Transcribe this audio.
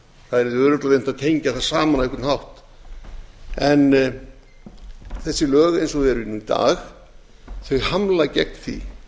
örugglega reynt að tengja þær saman á einhvern hátt en þessi lög eins og þau eru í dag hamla gegn því